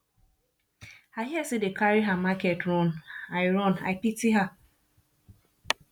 i hear say dey carry her market run i run i pity her